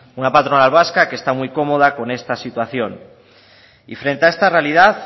una patronal vasca que está muy cómoda con esta situación y frente a esta realidad